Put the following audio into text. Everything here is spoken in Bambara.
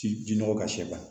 Ji nɔgɔ ka s'i ma